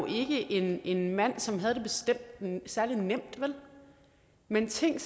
ikke en mand som havde det særlig nemt men tænk